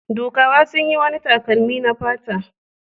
Dukawa sun yi wani takalmi na fata.